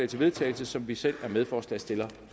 til vedtagelse som vi selv er medforslagsstillere